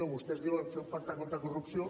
vostès diuen de fer un pacte contra la corrupció